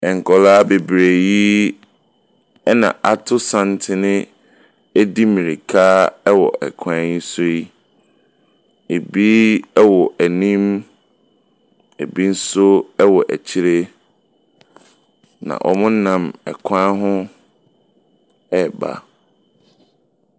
Nkwadaa bebree yi ɛna ato santene edi mirika ɛwɔ kwan yi soe. Ebi ɛwɔ anim, ebi nso ɛwɔ akyire na wɔnam ɛkwan ho ɛreba.